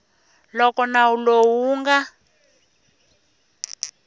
loko nawu lowu wu nga